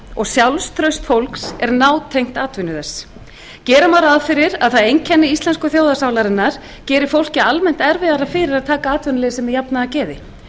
og sjálfstraust fólks er nátengt atvinnu þess gera má ráð fyrir að það einkenni íslensku þjóðarsálarinnar geri fólki almennt erfiðara fyrir að taka atvinnuleysi með jafnaðargeði